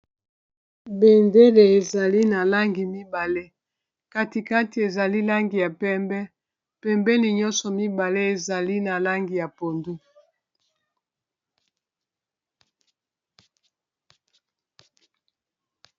bendele ezali na langi mibale katikati ezali langi ya pembe pembeni nyonso mibale ezali na langi ya pondu